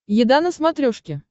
еда на смотрешке